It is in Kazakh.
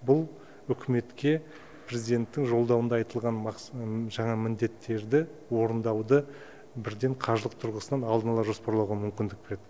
бұл үкіметке президенттің жолдауында айтылған жаңа міндеттерді орындауды бірден қаржылық тұрғысынан алдын ала жоспарлауға мүмкіндік береді